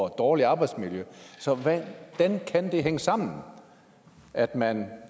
et dårligere arbejdsmiljø så hvordan kan det hænge sammen at man